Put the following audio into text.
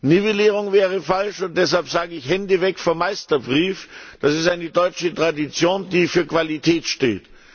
Nivellierung wäre falsch, und deshalb sage ich Hände weg vom Meisterbrief, das ist eine deutsche Tradition, die für Qualität steht!